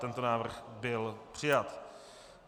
Tento návrh byl přijat.